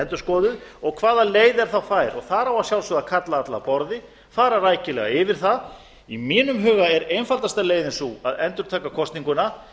endurskoðuð og hvaða leið er þá fær þar á að sjálfsögðu að kalla alla að borði fara rækilega yfir það í mínum huga er einfaldasta leiðin sú að endurtaka kosninguna